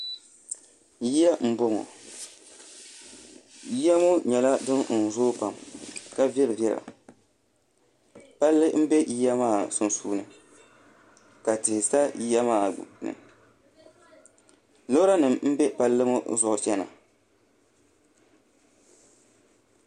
Yiya n boŋɔ yiya ŋo nyɛla din zooi pam ka viɛli viɛla palli n bɛ yiya maa sunsuuni ka tihi sa yiya maa gbuni loori nim n bɛ Palli ŋo zuɣu chana